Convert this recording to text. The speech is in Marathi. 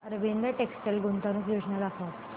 अरविंद टेक्स्टाइल गुंतवणूक योजना दाखव